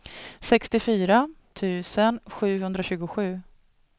sextiofyra tusen sjuhundratjugosju